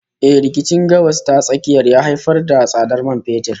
Eh, rikicin Gabas ta Tsakiya ya haifar da tsadar man fetur